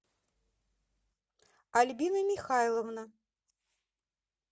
альбина михайловна